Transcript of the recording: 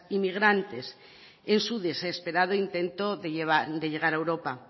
inmigrantes en su desesperado intento de llegar a europa